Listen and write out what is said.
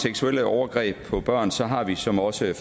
seksuelle overgreb på børn så har vi som også